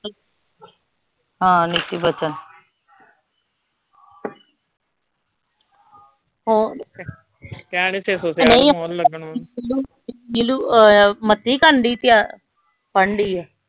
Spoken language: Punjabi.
ਹਾਂ ਨੀਤੀ ਬੱਚਨ ਨੀਲੂ ਅਹ ਮਤੀ ਕਰਨ ਡਈ ਤਿਆ ਪੜਨ ਡਈ ਆ?